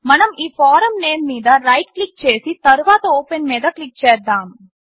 మనం ఈ form name మీద రైట్ క్లిక్ చేసి తర్వాత ఓపెన్ మీద క్లిక్ చేద్దాము